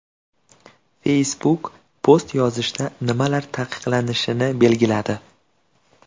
Facebook post yozishda nimalar taqiqlanishini belgiladi.